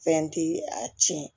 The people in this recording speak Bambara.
Fɛn ti a tiɲɛ